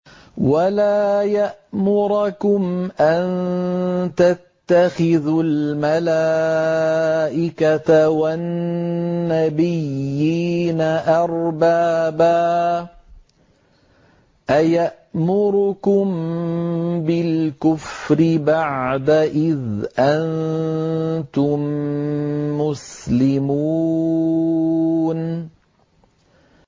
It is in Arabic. وَلَا يَأْمُرَكُمْ أَن تَتَّخِذُوا الْمَلَائِكَةَ وَالنَّبِيِّينَ أَرْبَابًا ۗ أَيَأْمُرُكُم بِالْكُفْرِ بَعْدَ إِذْ أَنتُم مُّسْلِمُونَ